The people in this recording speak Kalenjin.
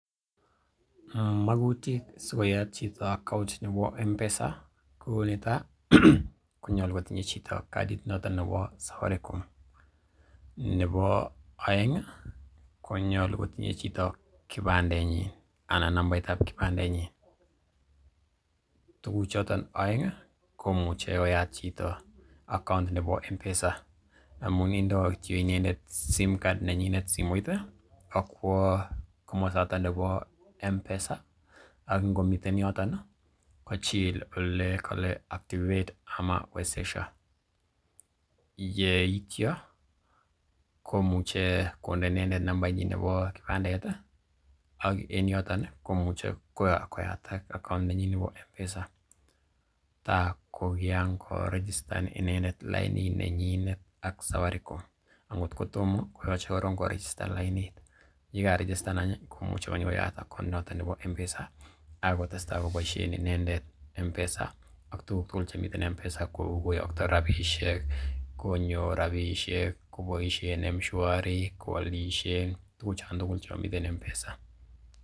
Magutik sikoyat chito account nebo M-Pesa, ko netai konyolu kotinye chito kadit noton nebo Safaricom, nebo oeng konyolu kotinye chito kipandenyin anan nambait ab kipandenyin, tuguchoton oeng i, komuche koyat chito account nebo M-Pesa amun indo kityo inendet Sim Card simoit ak kwo komosoton nebo M-Pesa ak ngomiten yoton, kochil ole kole activate anan wezesha. Yeityo komuche konde inendet nambait nebo kipandet ak en yoton komuche koyatak account nenyin nebo M-Pesa. Ta ko kiran korejistan inendet lainit nenyinet ak Safaricom. Angot ko tomo koyoche korong korejistan lainit, ye karijistan any ii komuche konyokoyat account nebo M-Pesa ak kotesta any koboisien inendet M-Pesa ak tuguk tugul chemiten en M-Pesa kou koyokto rabishek, konyor rabishek, koboisien M-Shwari, koalishen, tuguchon tugul chon miten M-Pesa.